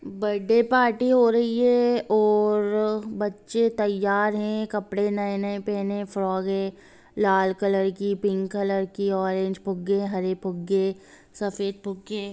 birthday party हो रही है और बच्चें तैयार हैं कपडे़ नए-नए पहेने फेरोके लाल कलर कि पिंक कलर की ऑरेंज फुग्गे हरे फुग्गे सफ़ेद फुग्गे --